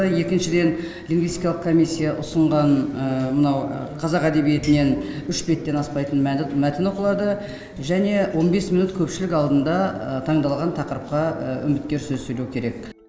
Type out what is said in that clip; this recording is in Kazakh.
екіншіден лингвистикалық комиссия ұсынған мынау қазақ әдебиетінен үш беттен аспайтын мәтін оқылады және он бес минут көпшілік алдында таңдалған тақырыпқа үміткер сөз сөйлеу керек